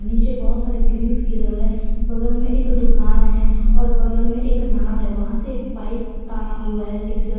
पीछे बहुत सारे ग्रीस ग्रिल है बगल में एक दुकान है और बगल में एक नाद है वहां से एक पाइप ताना हुआ है डीजल --